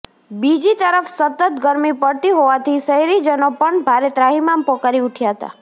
બીજી તરફ સતત ગરમી પડતી હોવાથી શહેરીજનો પણ ભારે ત્રાહીમામ પોકારી ઉઠ્યા હતા